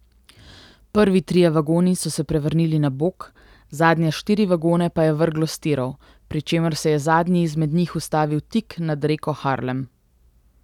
Prvi trije vagoni so se prevrnili na bok, zadnje štiri vagone pa je vrglo s tirov, pri čemer se je zadnji izmed njih ustavil tik nad reko Harlem.